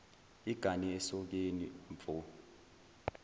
igane esokeni mfo